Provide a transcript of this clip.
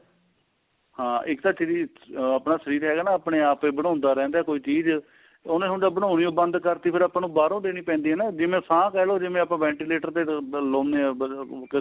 ਹਾਂ ਇੱਕ ਤਾਂ ਥੇਰੀ ਆਪਣਾ ਸਰੀਰ ਹੈਗਾ ਨਾ ਆਪਣੇ ਆਪ ਹੀ ਬਣਾਉਂਦਾ ਰਹਿੰਦਾ ਕੋਈ ਚੀਜ ਉਹਨੇ ਹੁਣ ਜੇ ਬਣਾਉਣੀ ਈ ਬੰਦ ਕਰਤੀ ਫੇਰ ਆਪਾਂ ਨੂੰ ਬਾਹਰੋ ਦੇਣੀ ਪੈਂਦੀ ਏ ਨਾ ਜਿਵੇਂ ਸਾਹ ਕਹਿ ਲੋ ਜਿਵੇਂ ਆਪਾਂ ventilator ਤੇ ਲਾਉਣੇ ਆ